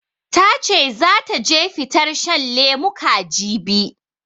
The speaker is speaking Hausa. Ta ce zata je fitar shan lemuka, jibi.